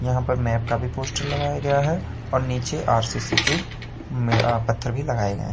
यहां पर मैप का भी पोस्टर लगाया गया है और नीचे आर_सी_सी के में अह पत्थर भी लगाए गए हैं।